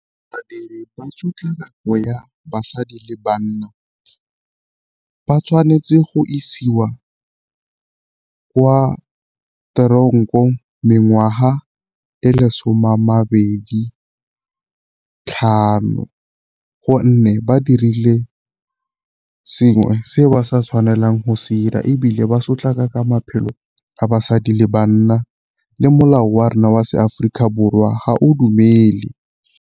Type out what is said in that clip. Badiri ba tshotlhakako ya basadi le banna ba tshwanetse go isiwa ko kwa tronkong mengwaga e le someamabedi tlhano, gonne ba dirile sengwe se ba sa tshwanelang go se 'ira ebile ba sotlaka ka maphelo a basadi le banna le molao wa rona wa se Aforika Borwa ga o dumele.